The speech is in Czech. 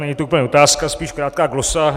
Není to úplně otázka, spíš krátká glosa.